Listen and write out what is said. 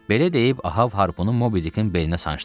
Belə deyib Ahab harpunu Mobidikin beyninə sancdı.